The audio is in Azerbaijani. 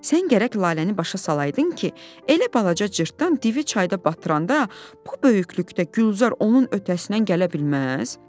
Sən gərək Laləni başa salaydın ki, elə balaca cırtdan divi çayda batıranda, bu böyüklükdə Gülzar onun ötəsindən gələ bilməz?